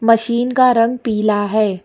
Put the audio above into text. Machine का रंग पीला है।